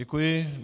Děkuji.